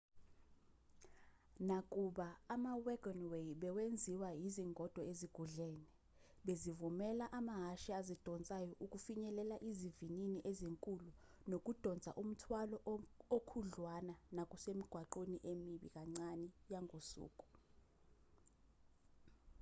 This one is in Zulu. nakuba ama-wagonway bewenziwa izingodo ezugudlene bezivumela amahhashi azidonsayo ukufinyelela izivinini ezinkulu nokudonsa umthwalo okhudlwana kunasemigwaqweni emibi kancane yangosuku